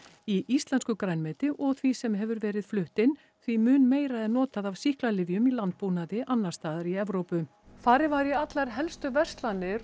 í íslensku grænmeti og í því sem hefur verið flutt inn því mun meira er notað af sýklalyfjum í landbúnaði annars staðar í Evrópu farið var í allar helstu verslanir